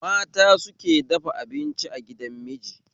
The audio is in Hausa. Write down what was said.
Mata suke dafa abinci a gidan miji